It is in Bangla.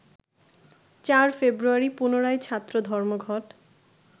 ৪ ফেব্রুয়ারি পুনরায় ছাত্র ধর্মঘট